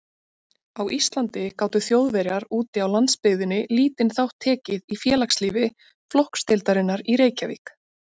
Á Íslandi gátu Þjóðverjar úti á landsbyggðinni lítinn þátt tekið í félagslífi flokksdeildarinnar í Reykjavík.